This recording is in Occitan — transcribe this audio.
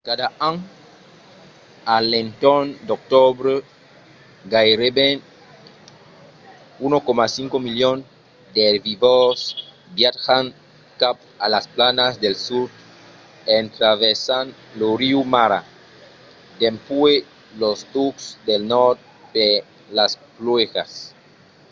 cada an a l’entorn d’octobre gaireben 1,5 milion d’erbivòrs viatjan cap a las planas del sud en traversant lo riu mara dempuèi los tucs del nòrd per las pluèjas